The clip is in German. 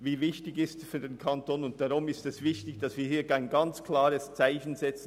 Deshalb ist es wichtig, dass wir hier ein ganz klares Zeichen setzen.